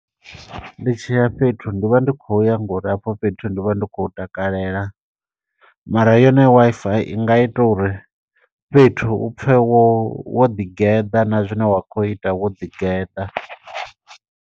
Ndi tshiya fhethu, ndi vha ndi khou ya ngo uri hafho fhethu ndi vha ndi khou hu takalela. Mara yone Wi-Fi i nga ita uri, fhethu u pfe wo wo ḓi geḓa, na zwine wa kho ita, wo ḓi geḓa.